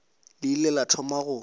le ile la thoma go